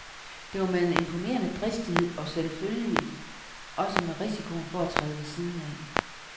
Det var med en imponerende dristighed, og selvfølgelig også med risikoen for at træde ved siden af.